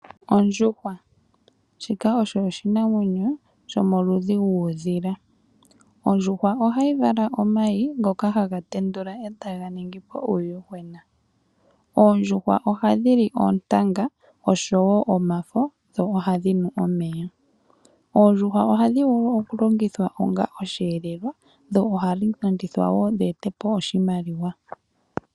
Ondjuhwa. Shika osho oshinamwenyo, shomoludhi guudhila. Ondjuhwa ohayi vala omayi, ngoka haga tendula etaga ningi po uuyuhwena. Oondjuhwa oha dhi li oontanga, osho wo omafo, dho oha dhi nu omeya. Oondjuhwa ohadhi vulu okulongithwa onga osheelelwa, dho ohadhi landithwa wo dhi ete po oshimaliwa.